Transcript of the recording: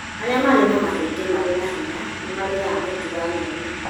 Arĩa marĩ na mahĩndĩ marĩ na hinya nĩ marĩaga mũtu wa nyeni.